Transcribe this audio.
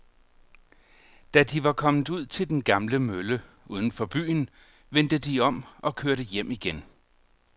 Da de var kommet ud til den gamle mølle uden for byen, vendte de om og kørte hjem igen.